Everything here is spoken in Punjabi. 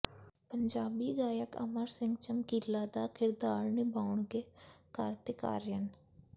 ਪੰਜਾਬੀ ਗਾਇਕ ਅਮਰ ਸਿੰਘ ਚਮਕੀਲਾ ਦਾ ਕਿਰਦਾਰ ਨਿਭਾਉਣਗੇ ਕਾਰਤਿਕ ਆਰੀਅਨ